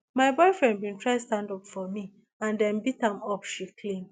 my boyfriend bin try stand up for me and dem beat am up she claim